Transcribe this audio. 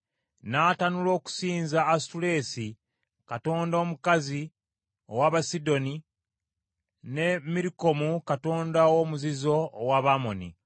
N’atanula okusinza Asutoleesi katonda omukazi ow’Abasidoni, ne Mirukomu katonda ow’omuzizo ow’Abamoni.